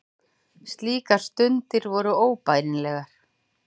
Slíkar stundir voru óbærilegar.